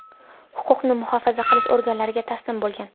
huquqni muhofaza qilish organlariga taslim bo‘lgan.